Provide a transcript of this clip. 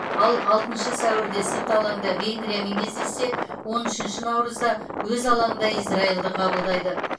ал алтыншы сәуірде сырт алаңда венгриямен кездессе он үшінші наурызда өз алаңында израильді қабылдайды